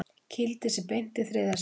Kýldi sig beint í þriðja sætið